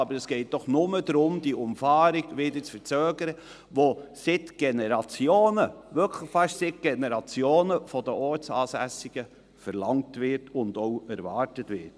Aber es geht doch nur darum, die Umfahrung wieder zu verzögern, die seit Generationen, wirklich fast seit Generationen, von den Ortsansässigen verlangt und auch erwartet wird.